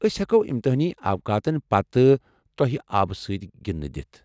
ٲسۍ ہٮ۪کو امتحٲنی اوقاتن پتہٕ توہہِ آبہٕ سۭتۍ گِنٛدِتھ دِتھ۔